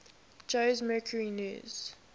jose mercury news